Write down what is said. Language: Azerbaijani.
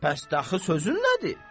Bəs dəxi sözün nədir?